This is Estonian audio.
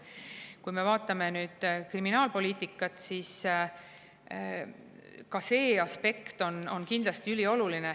Kui me vaatame nüüd kriminaalpoliitikat, siis ka see aspekt on kindlasti ülioluline.